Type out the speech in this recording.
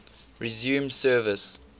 resumed service